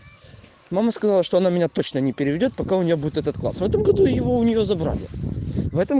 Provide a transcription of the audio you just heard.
мама сказала что она меня точно не переведёт пока у нее будет этот класс в этом году его у нее забрали в этом